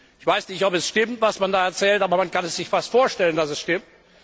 Ich weiß nicht, ob es stimmt, was man da erzählt, aber man kann sich fast vorstellen, dass es stimmt.